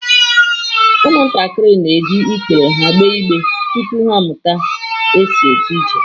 Umuntakịrị na-eji ịkpèrè ha gbéé ịgbé tupu ha amụta ka e sị éjé ijè